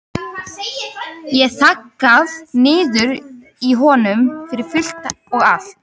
Ég hef þaggað niður í honum fyrir fullt og allt.